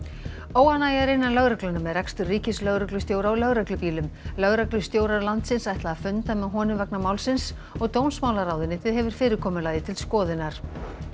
óánægja er innan lögreglunnar með rekstur ríkislögreglustjóra á lögreglubílum lögreglustjórar landsins ætla að funda með honum vegna málsins og dómsmálaráðuneytið hefur fyrirkomulagið til skoðunar